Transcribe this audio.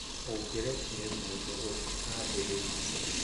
ũngĩrekĩre mũndũ ũngĩ ambĩrĩrie